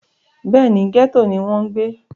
bẹ́ẹ̀ni, gẹ́tò ni wọ́n ń gbé